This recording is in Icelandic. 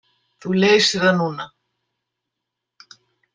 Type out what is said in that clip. Þú leysir það núna.